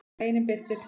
Greinin birtist í